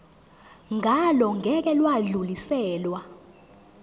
ngalo ngeke lwadluliselwa